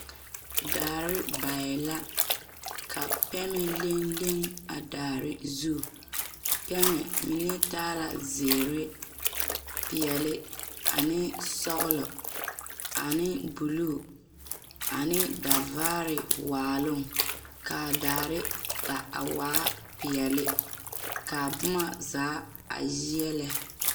Daare baɛ la ka pɛne leŋ leŋ a daare zu pɛmɛ mine taa la zeere peɛle ane sɔglɔ ane bulu ane davaare waaloŋ k,a daare ba a waa peɛle k,a boma zaa a yeɛlɛ.